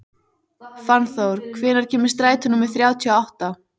Fannþór, hvenær kemur strætó númer þrjátíu og átta?